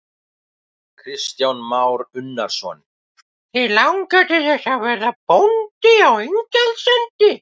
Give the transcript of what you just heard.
Kristján Már Unnarsson: Þig langar til þess að verða bóndi á Ingjaldssandi?